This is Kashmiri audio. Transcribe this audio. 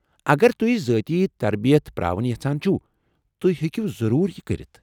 اگر تُہۍ ذٲتی تربیت پرٛاوٕنۍ یژھان چھوٕ، تُہۍ ہیٚکو ضرور یہ کٔرتھ ۔